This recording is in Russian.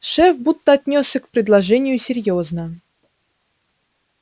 шеф будто отнёсся к предложению серьёзно